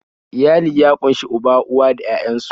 Iyali ya ƙunshi uba, uwa da 'ya'yan su